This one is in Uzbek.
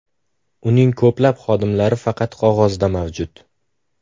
Uning ko‘plab xodimlari faqat qog‘ozda mavjud.